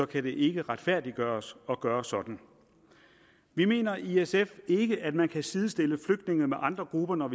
kan det ikke retfærdiggøres at gøre sådan vi mener i sf ikke at man kan sidestille flygtninge med andre grupper når